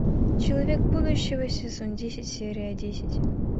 человек будущего сезон десять серия десять